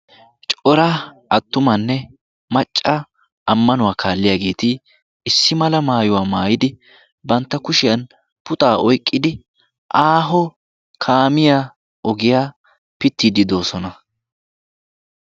coraa attumanne macca ammanuwaa kaalliyaageeti issi mala maayuwaa maayidi bantta kushiyan puxaa oiqqidi aaho kaamiyaa ogiyaa pittiidi doosona.